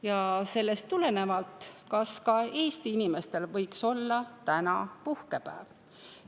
Ja sellest tulenevalt küsime: kas ka Eesti inimestel võiks olla täna puhkepäev?